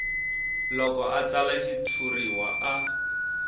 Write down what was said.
loko a tsala xitshuriwa a